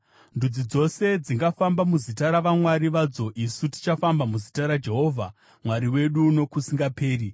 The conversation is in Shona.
Ndudzi dzose dzingafamba muzita ravamwari vadzo; isu tichafamba muzita raJehovha Mwari wedu nokusingaperi-peri.